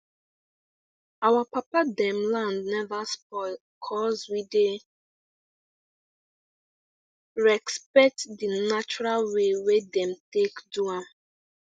our papa them land never spoil cuz we dey respect the natural way wey dem take do am